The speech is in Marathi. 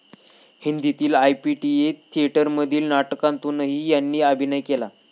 हिंदीतील आयपीटीए थियेटरमधील नाटकांतूनही यांनी अभिनय केला.